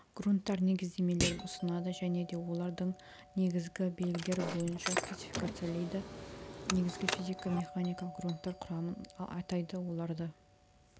грунттар негіздемелерін ұсынады және де оларды негізгі белгілері бойынша классифицирлейді негізгі физико-механикалық грунттар құрамын атайды оларды